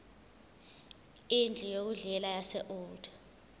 indlu yokudlela yaseold